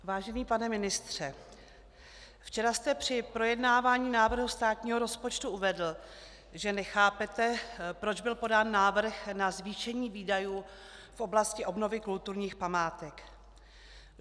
Vážený pane ministře, včera jste při projednávání návrhu státního rozpočtu uvedl, že nechápete, proč byl podán návrh na zvýšení výdajů v oblasti obnovy kulturních památek.